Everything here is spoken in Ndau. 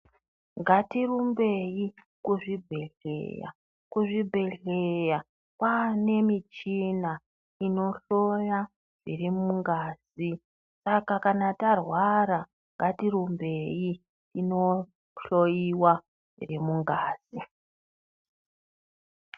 Ngatirumbei kuzvibhedhleya kuzvibhedhleya kwane michina inohloya zviri mungazi saka kana tarwara ngatirumbei tinohloiwa zviri mungazi.